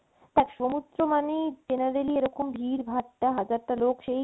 দেখ সমুদ্র মানেই generally এরকম ভিড় ভাট্টা, হাজারটা লোক সেই